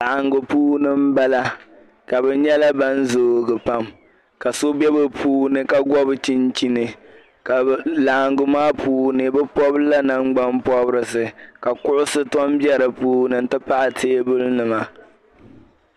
laɣiŋgu puuni m-bala ka bɛ nyɛla ban zoogi pam ka so be bɛ puuni ka bɔbi chinchini ka laɣiŋgu maa puuni bɛ pɔbila nangbampɔbirisi ka kuɣisi tɔ m-be di puuni nti pahi teebulinima